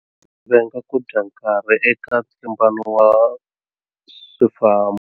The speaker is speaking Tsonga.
Venga ku dya nkarhi eka ntlimbano wa swifambo.